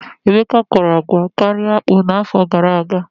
Emeka kọrọ agwa karịa akpụ n'afọ gara aga.